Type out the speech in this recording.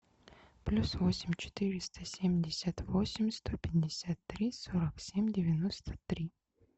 плюс восемь четыреста семьдесят восемь сто пятьдесят три сорок семь девяносто три